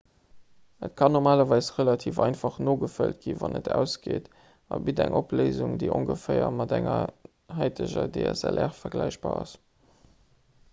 et kann normalerweis relativ einfach nogefëllt ginn wann et ausgeet a bitt eng opléisung déi ongeféier mat enger haiteger dslr vergläichbar ass